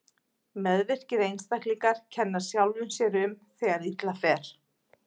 Meðvirkir einstaklingar kenna sjálfum sér um þegar illa fer.